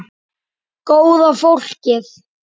Góða fólkið.